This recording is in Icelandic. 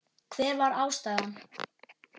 Hver var ástæðan?